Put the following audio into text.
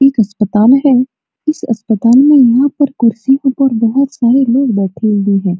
एक अस्पताल है अस्पातल में यहाँ कुर्सी के ऊपर बहुत सारे लोग बैठे हुए है।